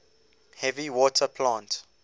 heavy water plant